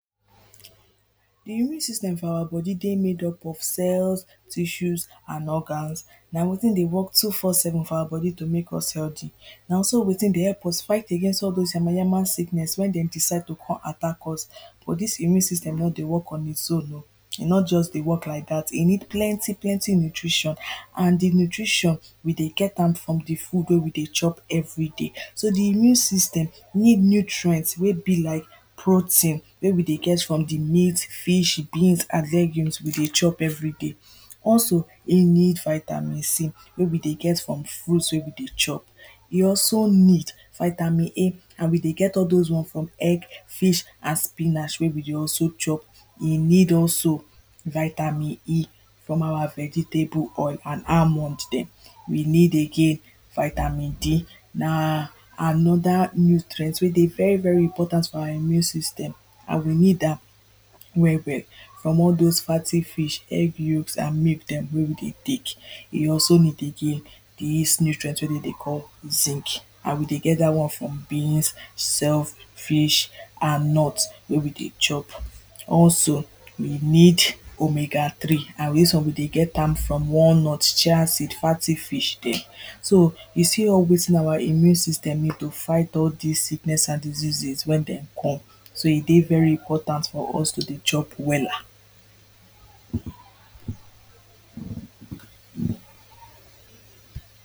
the immune system for our body dey made up of cells tissues and organs na wetin dey work two four seven for our body to make us healthy na also wetin dey help us fight against all those yama yama sickness when dey decide to come attack us but this immune system no dey work on it own oh e no just dey work like that e need plenty plenty nutrition and di nutrition, we dey get am from the food wey we dey chop everyday so, the immune system need nutrients wey be like protein wey we dey get from the meat, fish, beans an legumes we dey chop everyday also we need vitamin C wey we dey get from fruits wey we dey chop e also need vitamin A and we dey get all those ones from egg, fish an spinach wey we dey chop e need also vitamin E from our vegetable oil, and almond dem we need again Vitamin D na another nutrient wey dey very very important for our immune system and we need am well well from all those fatty fish egg yolks and milk dem wey we dey take e also need again this nutrient wey dem dey call zinc and we dey get that one from beans self, fish an nut wey we de chop also we need omega 3 and this one we dey get am from walnut, chia seed, fatty fish dem so you see all wetin our immune system need to fight all this sickness and diseases wen dem come so e dey very important for us to dey chop wella